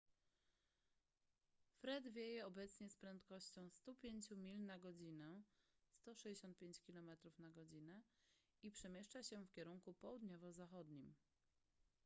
fred wieje obecnie z prędkością 105 mil na godzinę 165 km/godz. i przemieszcza się w kierunku południowo-zachodnim